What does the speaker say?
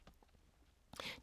DR1